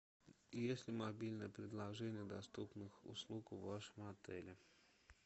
есть ли мобильное приложение доступных услуг в вашем отеле